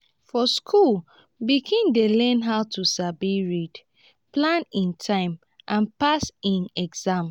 for school pikin dey learn how to sabi read plan e time and pass e exam.